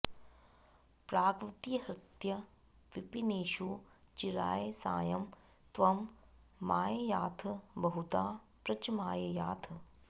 प्राग्वद्विहृत्य विपिनेषु चिराय सायं त्वं माययाथ बहुधा व्रजमाययाथ